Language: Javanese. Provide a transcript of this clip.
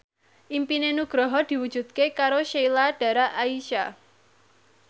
impine Nugroho diwujudke karo Sheila Dara Aisha